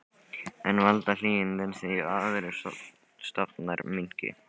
En valda hlýindin því að aðrir stofnar minnki?